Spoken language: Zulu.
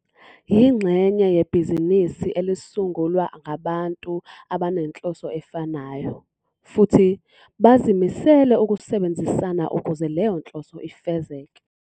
Yingxenye yebhizinisi elisungulwa ngabantu abanenhloso efanayo, futhi bazimisele ukusebenzisana ukuze leyo nhloso ifezeke.